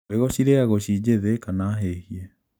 Mbegu cirĩagwo ci njīthī kana hīhie.